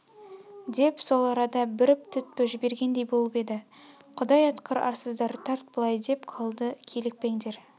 деп сол арада бүріп түтпі жібергендей болып еді құдай атқыр арсыздар тарт былай деп қалды килікпеңдер